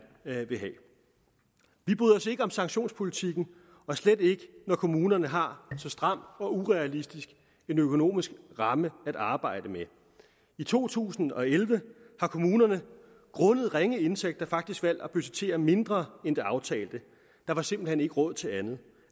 vil have vi bryder os ikke om sanktionspolitikken og slet ikke når kommunerne har en så stram og urealistisk økonomisk ramme at arbejde med i to tusind og elleve har kommunerne grundet ringe indtægter faktisk valgt at budgettere mindre end det aftalte der var simpelt hen ikke råd til andet